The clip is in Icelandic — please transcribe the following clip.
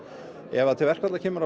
ef til verkfalla kemur á